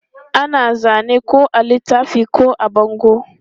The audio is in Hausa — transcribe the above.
Ana zane ko a littafi ko a bango.